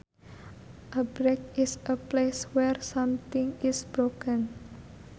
A break is a place where something is broken